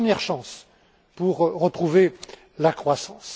C'est notre première chance pour retrouver la croissance.